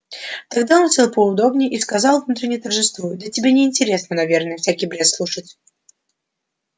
тогда он сел поудобнее и сказал внутренне торжествуя да тебе не интересно наверное всякий бред слушать